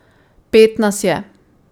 Pet nas je.